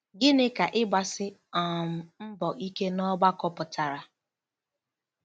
Gịnị ka ‘ịgbasi um mbọ ike’ n’ọgbakọ pụtara?